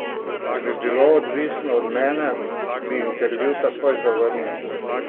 Če bi bilo odvisno od mene, bi intervju takoj zavrnil!